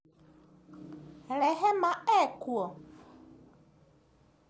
Rehema ekuo?